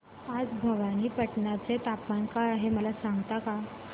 आज भवानीपटना चे तापमान काय आहे मला सांगता का